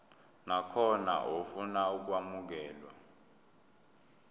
nakhona ofuna ukwamukelwa